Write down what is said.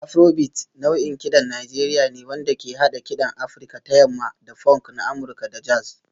Afrobeat nau'in kiɗan Najeriya ne wanda ke haɗa kiɗan Afirka ta Yamma da funk na Amurka da jazz